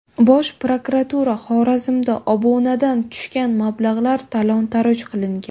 Bosh prokuratura: Xorazmda obunadan tushgan mablag‘lar talon-toroj qilingan.